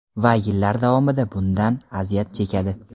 Va yillar davomida bundan aziyat chekadi.